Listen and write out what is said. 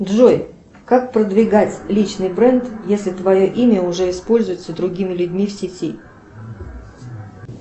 джой как продвигать личный бренд если твое имя уже используется другими людьми в сети